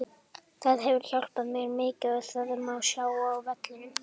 Það hefur hjálpað mér mikið og það má sjá á vellinum.